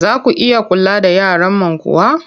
Za ku iya kula da yaran man kuwa?